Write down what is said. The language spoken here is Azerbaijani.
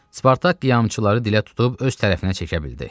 Spartak qiyamçıları dilə tutub öz tərəfinə çəkə bildi.